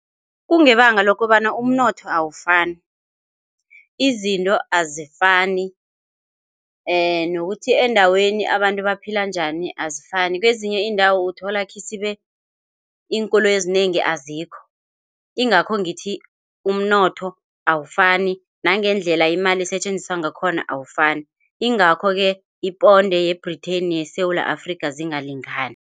Kungebanga lokobana umnotho awafani, izinto azifani nokuthi endaweni abantu baphila njani azifani. Kwezinye iindawo uthola ikhisibe iinkoloyi ezinengi azikho. Ingakho ngithi umnotho awafani nangendlela imali isetjenziswa ngakhona awafani. Ingakho-ke iponde ye-Britain yeSewula Afrika zingalingani.